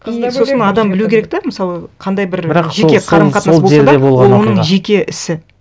и сосын адам білу керек те мысалы қандай бір жеке қарым қатынас болса да ол оның жеке ісі